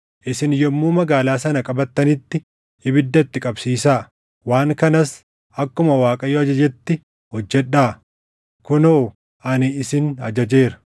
Isin yommuu magaalaa sana qabattanitti ibidda itti qabsiisaa. Waan kanas akkuma Waaqayyo ajajetti hojjedhaa. Kunoo ani isin ajajeera.”